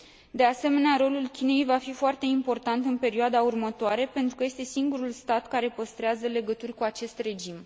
De asemenea, rolul Chinei va fi foarte important în perioada următoare, pentru că este singurul stat care păstrează legături cu acest regim.